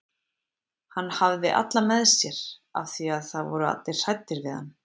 Hann hafði alla með sér af því að það voru allir hræddir við hann.